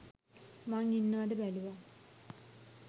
මං ඉන්නවද බැලුවා